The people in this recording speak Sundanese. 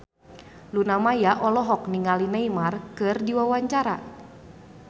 Luna Maya olohok ningali Neymar keur diwawancara